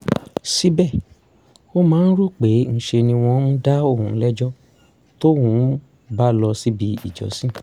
síbẹ̀ ó máa ń rò pé ńṣe ni wọ́n ń dá òun lẹ́jọ́ tóun ò bá lọ síbi ìjọsìn